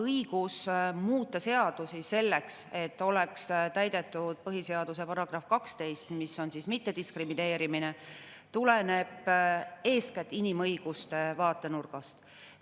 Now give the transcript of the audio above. Õigus muuta seadusi selleks, et oleks täidetud põhiseaduse § 12, mis mittediskrimineerimisest, tuleneb eeskätt inimõiguste vaatenurgast.